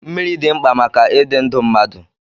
Mmiri dị mkpa maka ịdị ndụ mmadụ.